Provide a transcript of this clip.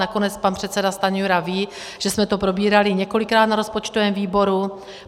Nakonec pan předseda Stanjura ví, že jsme to probírali několikrát na rozpočtovém výboru.